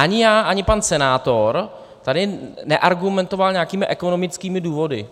Ani já, ani pan senátor tady neargumentoval nějakými ekonomickými důvody.